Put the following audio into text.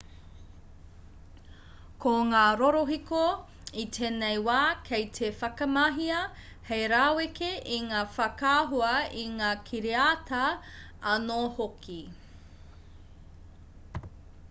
ko ngā rorohiko i tēnei wā kei te whakamahia hei raweke i ngā whakaahua i ngā kiriata anō hoki